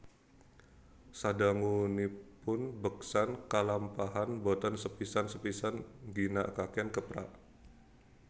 Sadangunipun beksan kalampahan boten sepisan sepisan ngginakaken keprak